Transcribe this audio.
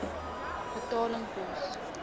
betaling pos